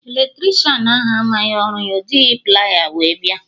Eletricịanahụ amaghị ọrụ ya, ọ jighị plier wee bịa